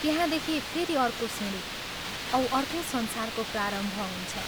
त्यहाँदेखि फेरि अर्को सिंढी औ अर्कै संसारको प्रारम्भ हुन्छ।